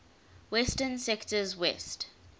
western sectors west